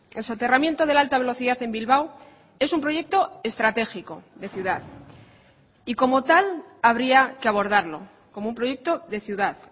el soterramiento de la alta velocidad en bilbao es un proyecto estratégico de ciudad y como tal habría que abordarlo como un proyecto de ciudad